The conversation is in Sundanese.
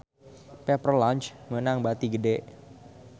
Pepper Lunch meunang bati gede